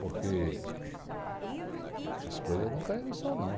Porque essas coisas não caem no céu, não.